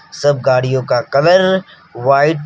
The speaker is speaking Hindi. सब गाड़ियों का कलर वाइट --